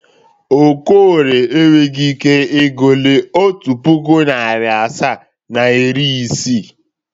Okorie enweghi ike ịgụrụ otu pụkụ, narị asaa na iri isii.